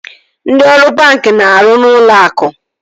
Ndị ọrụ banki na-arụ n'ụlọ akụ